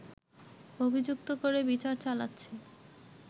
অভিযুক্ত করে বিচার চালাচ্ছে